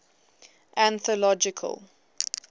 anthological